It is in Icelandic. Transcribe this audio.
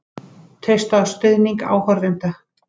Treysta á stuðning áhorfenda